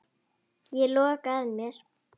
Ég loka að mér.